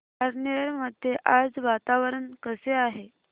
पारनेर मध्ये आज वातावरण कसे आहे